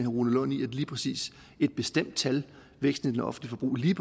rune lund i at lige præcis et bestemt tal væksten i det offentlige